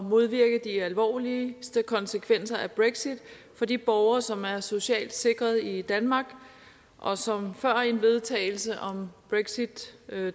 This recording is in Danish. modvirke de alvorligste konsekvenser af brexit for de borgere som er socialt sikrede i danmark og som før en vedtagelse om brexit